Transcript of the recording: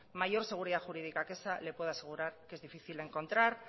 mayor seguridad jurídica que esa le puedo asegurar que es difícil de encontrar